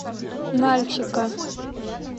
нальчика